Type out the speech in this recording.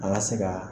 An ka se ka